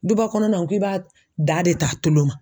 Duba kɔnɔnaw k'i b'a da de t'a tolo ma.